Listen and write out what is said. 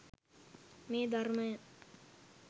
මේ ධර්මය